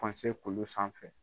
Pɔnse kulu sanfɛ.